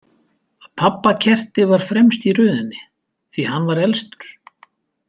Pabba kerti var fremst í röðinni því hann var elstur.